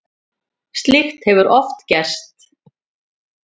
Slíkt hefur oft gerst.